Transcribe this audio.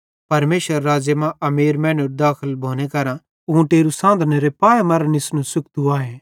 परमेशरेरे राज़्ज़े मां अमीर मैनेरू दाखल भोने केरां ऊँटेरू सांधनेरे पाऐ मरां निस्नू सुख्तू आए